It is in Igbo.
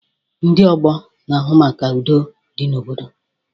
Ndị ọgbọ na-ahụ maka na udo dị n'obodo